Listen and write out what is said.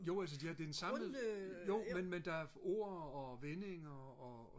jo altså det er den samme jo men der er ord og vendinger og